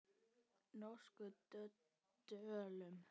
Norskum döllum.